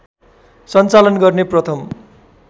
सञ्चालन गर्ने प्रथम